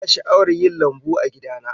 Ina sha'awar yin lambu a gida na